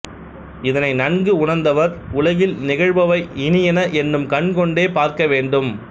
இதனை நன்கு உணர்ந்தவர் உலகில் நிகழ்பவை இனியன என்னும் கண்கொண்டே பார்க்க வேண்டும்